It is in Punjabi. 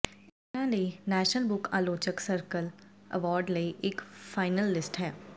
ਇਹ ਕਲਪਨਾ ਲਈ ਨੈਸ਼ਨਲ ਬੁੱਕ ਆਲੋਚਕ ਸਰਕਲ ਅਵਾਰਡ ਲਈ ਇੱਕ ਫਾਈਨਲਿਸਟ ਹੈ